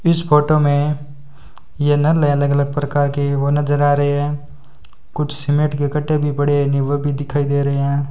इस फोटो में ये नल हैं अलग अलग प्रकार के वो नजर आ रहे हैं कुछ सीमेंट के कट्टे भी पड़े हैं नी वो भी दिखाई दे रहे हैं।